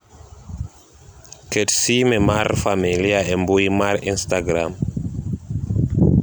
ket sime mar familia e mbui mar insatagram